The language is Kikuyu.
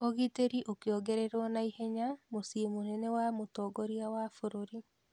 Ũgiteri ũkĩongererwo na ihenya mũciĩ mũnene wa mũtongoria wa bũrũri.